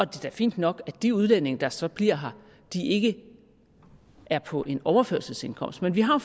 da fint nok at de udlændinge der så bliver her ikke er på en overførselsindkomst men vi har